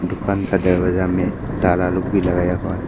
दुकान का दरवाजा में ताला लोग भी लगाया हुआ है।